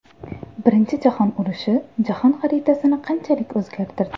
Birinchi jahon urushi jahon xaritasini qanchalik o‘zgartirdi?.